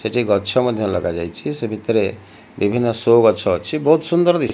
ସେଠି ଗଛ ମଧ୍ୟ ଲଗା ଯାଇଛି ସେ ଭିତରେ ବିଭିନ୍ନ ଶୋ ଗଛ ଅଛି ବହୁତ୍ ସୁନ୍ଦର ଦିଶୁ --